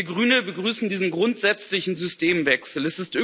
Wir Grüne begrüßen diesen grundsätzlichen Systemwechsel.